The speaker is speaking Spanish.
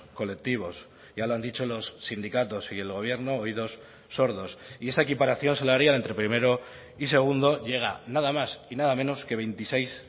colectivos ya lo han dicho los sindicatos y el gobierno oídos sordos y esa equiparación salarial entre primero y segundo llega nada más y nada menos que veintiséis